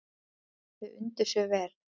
Þau undu sér vel.